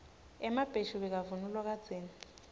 emabheshu bekavunulwa kadzeni